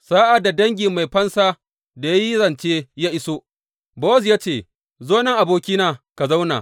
Sa’ad da dangi mai fansan da ya yi zance ya iso, Bowaz ya ce, Zo nan abokina ka zauna.